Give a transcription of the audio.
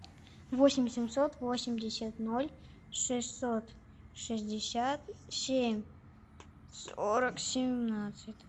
восемь семьсот восемьдесят ноль шестьсот шестьдесят семь сорок семнадцать